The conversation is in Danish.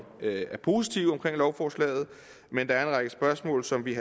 er positive over lovforslaget men der er en række spørgsmål som vi